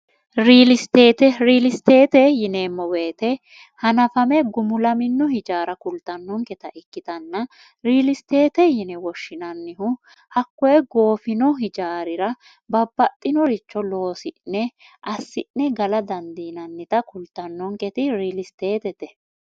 liriilisteete yineemmo woyite hanafame gumulamino hijaara kultannonketa ikkitanna riilisteete yine woshshinannihu hakkoye goofino hijaarira babbaxxinoricho loosi'ne assi'ne gala dandiinannita kultannonketi riilisteette